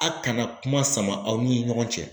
A kana kuma sama aw ni ɲɔgɔn cɛ